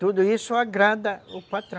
Tudo isso agrada o patrão.